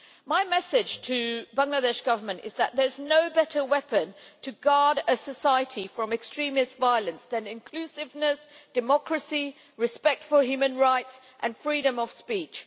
My message to the Bangladesh Government is that there are no better weapons for safeguarding a society from extremist violence than inclusiveness, democracy, respect for human rights and freedom of speech.